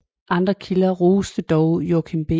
Andre kilder roste dog Joachim B